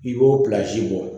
I b'o bɔ